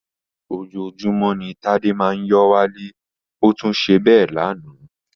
Ojoojúmọ́ ni ó Tádé máa ń yó wálé, ó tún ṣe bẹ́ẹ̀ lánàá